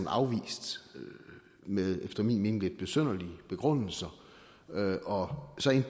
afvist med efter min mening lidt besynderlige begrundelser og